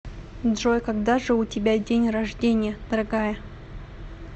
джой когда же у тебя день рождения дорогая